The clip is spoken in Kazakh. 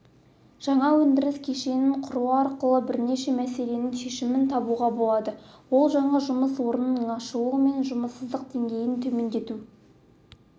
жаңа өндіріс кешенін құру арқылы бірнеше мәселенің шешімін табуға болады ол жаңа жұмыс орнының ашылуы мен жұмыссыздық деңгейін төмендету